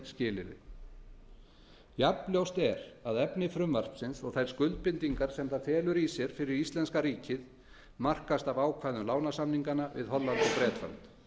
skilyrði jafnljóst er að efni frumvarpsins og þær skuldbindingar sem það felur í sér fyrir íslenska ríkið markast af ákvæðum lánasamninganna við holland og bretland